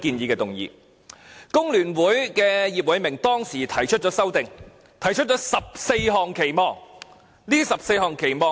工聯會的葉偉明當時提出修正案，提出了14項期望。